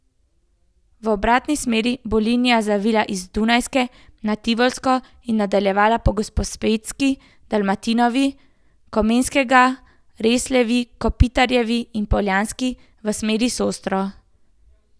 V obratni smeri bo linija zavila z Dunajske na Tivolsko in nadaljevala po Gosposvetski, Dalmatinovi, Komenskega, Resljevi, Kopitarjevi in Poljanski v smeri Sostro.